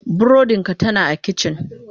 Burodin ka tana a kicin.